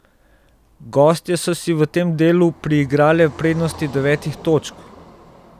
Gostje so si v tem delu priigrale prednost devetih točk.